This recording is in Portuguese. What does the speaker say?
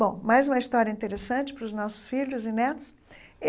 Bom, mais uma história interessante para os nossos filhos e netos.